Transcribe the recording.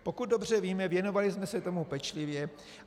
Pokud dobře víme, věnovali jsme se tomu pečlivě.